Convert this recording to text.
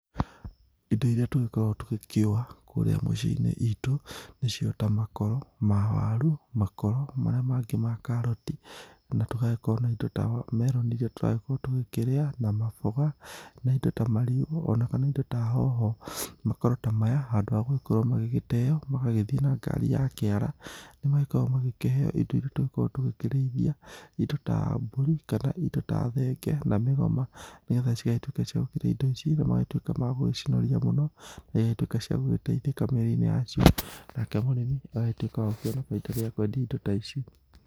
Indo irĩa tũgĩkoragwo tũgĩkiũa kũrĩa mũciĩ-inĩ itũ nĩ cio ta makoro ma waru, makoro marĩa mangĩ ma karati na tũgagĩkorwo na indo ta meroni iria tũragĩkorwo tũgĩkĩrĩa na mamboga na indo ta marigũ ona kana indo ta hoho, makoro ta maya handũ ha gũgĩkorwo magĩteo magagĩthiĩ na ngari a kĩara, nĩ magĩkoragwo magĩkĩheo indo iria tũgĩkoragwo tukĩrĩithia indo ta mbũri kana indo ta thenge na migoma nĩgetha cigagĩtuĩka cia kũrĩa indo ici na magagĩtuĩka magũcinoria muno na cigagĩtũika cia gũgĩteithika mĩrĩ-inĩ yacio nake mũrĩmi agagĩtuĩka wa kuona baita rĩrĩa akũendia indo ta ici.